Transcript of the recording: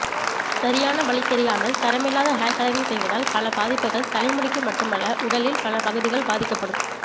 சரியான வழி தெரியாமல் தரமில்லாத ஹேர் கலரிங் செய்வதால் பல பாதிப்புகள் தலைமுடிக்கு மட்டுமல்ல உடலில் பல பகுதிகள் பாதிக்கப்படும்